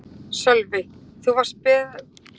Sölvi: Þú varst bara beðinn um að vera hérna í dag?